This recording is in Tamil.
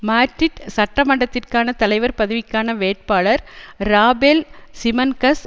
மாட்ரிட் சட்ட மன்றத்திற்கான தலைவர் பதவிக்கான வேட்பாளர் ராபேல் சிமன்கஸ்